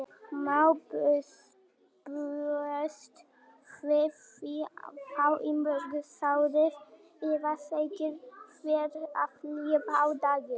Má búast við því þá í morgunsárið eða þegar fer að líða á daginn?